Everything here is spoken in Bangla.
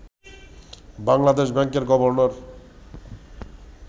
বাংলাদেশ ব্যাংকের গভর্নর